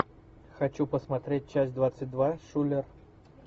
хочу посмотреть часть двадцать два шулер